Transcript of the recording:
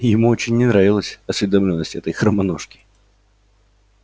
ему очень не нравилась осведомлённость этой хромоножки